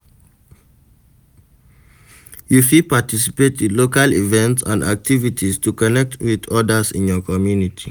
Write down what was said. You fit participate in local events and activites to connect with odas in your communty.